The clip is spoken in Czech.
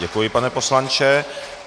Děkuji, pane poslanče.